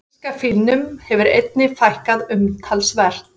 Asíska fílnum hefur einnig fækkað umtalsvert.